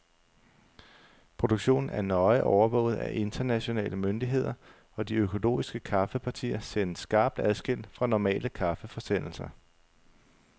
Produktionen er nøje overvåget af internationale myndigheder, og de økologiske kaffepartier sendes skarpt adskilt fra normale kaffeforsendelser.